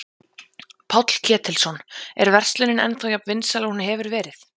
Páll Ketilsson: Er verslunin ennþá jafn vinsæl og hún hefur verið?